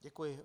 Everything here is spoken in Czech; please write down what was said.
Děkuji.